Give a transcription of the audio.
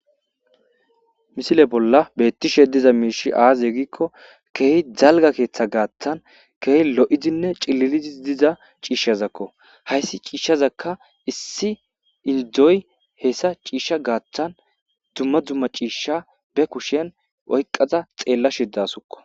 misile bolla beettishe diza miishi aaze gikko keehi dalga keeththa gaattan keehi lo7idinne cililidis diza ciishshazakko hayssi ciishshazakka issi indoy hessa ciishsha gaattan dumma dumma ciishsha be kushien oyqqaza xeella shidasukko